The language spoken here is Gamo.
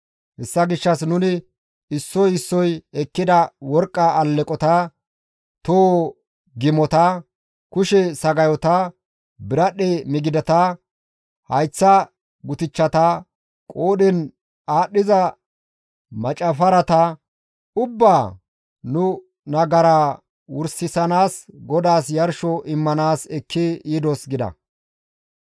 hessa gishshas nuni issoy issoy ekkida worqqa aleqota, toho gimota, kushe sagayota, biradhdhe midigata, hayththa gutichchata, qoodhen aadhdhiza maccifarata ubbaa nu nagaraa wursanaas GODAAS yarsho immanaas ekki yidos» gida.